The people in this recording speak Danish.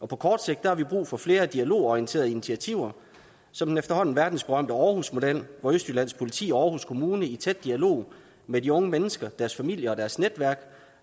på kort sigt har vi brug for flere dialogorienterede initiativer som den efterhånden verdensberømte aarhusmodel hvor østjyllands politi og aarhus kommune i tæt dialog med de unge mennesker deres familier og deres netværk